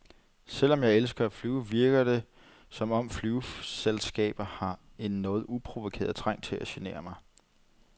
Selvom jeg elsker at flyve, virker det, som om flyselskaber har en noget uprovokeret trang til at genere mig.